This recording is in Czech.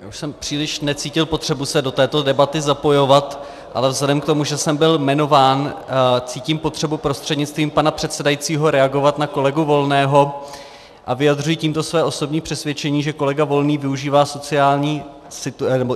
Já už jsem příliš necítil potřebu se do této debaty zapojovat, ale vzhledem k tomu, že jsem byl jmenován, cítím potřebu prostřednictvím pana předsedajícího reagovat na kolegu Volného a vyjadřuji tímto své osobní přesvědčení, že kolega Volný využívá